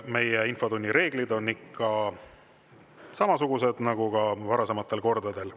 Meie infotunni reeglid on ikka samasugused nagu ka varasematel kordadel.